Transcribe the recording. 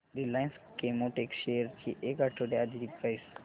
Reliance Chemotex shares ची एक आठवड्या आधीची प्राइस